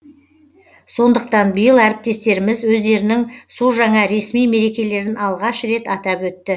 сондықтан биыл әріптестеріміз өздерінің су жаңа ресми мерекелерін алғаш рет атап өтті